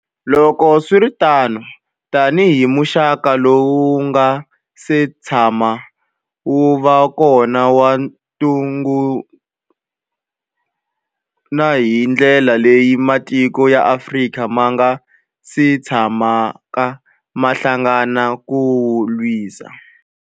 Loko swi ri tano, tanihi muxaka lowu wu nga si tshamaka wu va kona wa ntungukulu, na hi ndlela leyi matiko ya Afrika ma nga si tshamaka ma hlangana ku wu lwisa.